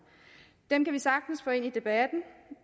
dem kan vi sagtens få ind i debatten